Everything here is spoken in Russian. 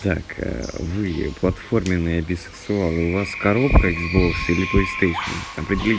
так вы платформенные бисексуалы у вас коробка икс бокс или плэйстейшн определи